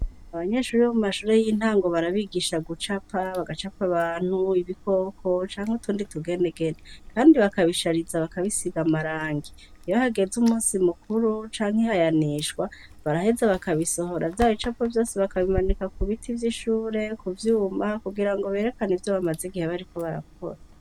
Abanyeshuri bo mu mashure y'intango barabigisha gucapa, bagacapa abantu, ibikoko, canke utundi tugenegene, kandi bakabishariza bakabisiga amarangi, iyo hageze umusi mukuru canke ihayanishwa baraheza bakabisohora vya bicapo vyose bakabimanika ku biti vy'ishure, ku vyuma, kugira ngo berekane ivyo bamaze igihe bariko barakora.